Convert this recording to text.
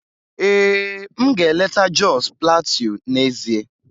Ee, m ga-eleta Jos Plateau n'ezie